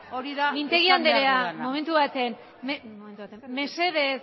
mesedez mintegi andrea momentu bat mesedez